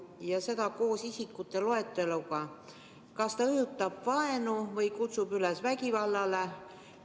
"– ja seda koos isikute loeteluga –, kas ta siis õhutab vaenu või kutsub üles vägivallale?